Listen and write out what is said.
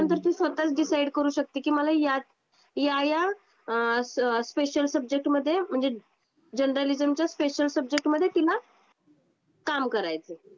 त्यानंतर ती स्वतः डिसाइड करू शकते की मला या या स्पेशल अ अ स्पेशल सब्जेक्टमध्ये म्हणजे जर्नालिझमच्या स्पेशल सब्जेक्टमध्ये तिला काम करायच आहे.